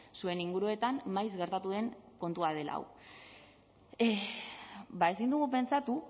zuen inguruetan maiz gertatu den kontua dela hau ezin dugu pentsatu